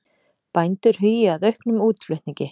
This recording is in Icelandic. Bændur hugi að auknum útflutningi